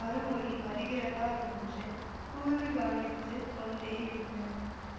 மறுமொழி வருகிறதா என்று கூர்ந்து கவனித்து கொண்டேயிருந்தன